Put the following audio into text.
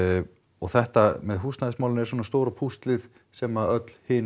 og þetta með húsnæðismálin er svona stóra púslið sem öll hin